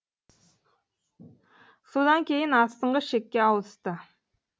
содан кейін астыңғы шекке ауысты